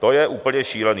To je úplně šílený.